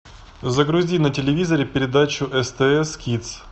загрузи на телевизоре передачу стс кидс